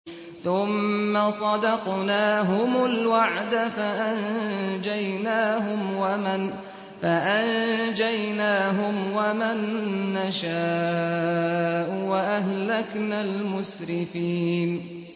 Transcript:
ثُمَّ صَدَقْنَاهُمُ الْوَعْدَ فَأَنجَيْنَاهُمْ وَمَن نَّشَاءُ وَأَهْلَكْنَا الْمُسْرِفِينَ